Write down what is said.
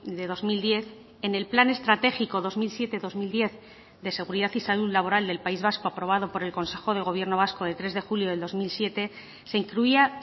de dos mil diez en el plan estratégico dos mil siete dos mil diez de seguridad y salud laboral del país vasco aprobado por el consejo de gobierno vasco de tres de julio del dos mil siete se incluía